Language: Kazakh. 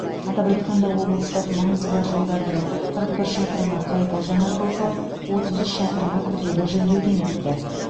атап айтқанда облыстық маңызы бар жолдардың қырық бір шақырымы қайта жаңартылса отыз үш шақырымы күрделі жөндеуден өтті